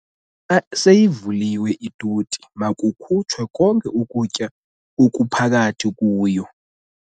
Xa seyivuliwe itoti makukhutshwe konke ukutya okuphakathi kuyo.